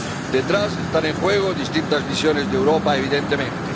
Detrás están en juego distintas visiones de Europa, evidentemente.